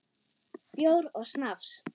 Bjór og snafs.